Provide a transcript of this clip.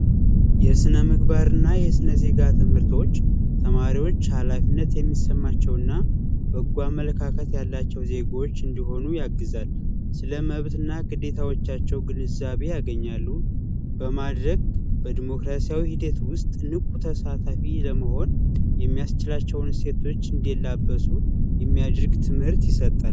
የስነ ምግባርና ስነ ዜጋ ትምህርቶች ተማሪዎች ሀላፊነት እንዲሰማቸውና በጎ አመለካከት ያላቸው እንዲሆኑ ያግዛል፣ ስለ መብትና ግዴታዎቻቸው ግንዛቤ እንዲያገኙ በማድረግ በዲሞክራሲ ስርአት ውስጥ ንቁ ተሳታፊዎች እንዲሆኑ ያስችላቸዋል።